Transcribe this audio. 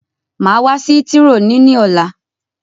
Màá wá sí hítírò ni ní ọ̀la.